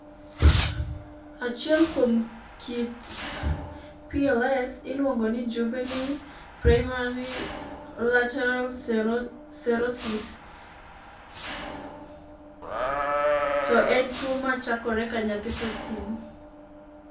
Achiel kuom kit PLS iluongo ni juvenile primary lateral sclerosis, to en tuwo ma chakore ka nyathi pod tin.